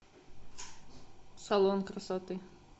салон красоты